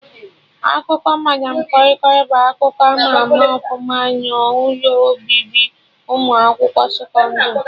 Akụkọ madam kọi kọi bụ akụkọ ama ama ọfụma n'ụlọ obibi ụmụ akwụkwọ sekọndrị